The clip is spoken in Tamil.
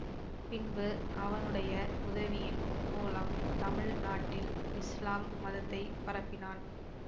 பின்பு அவனுடைய உதவியின் மூலம் தமிழ் நாட்டில் இஸ்லாம் மதத்தை பரப்பினான்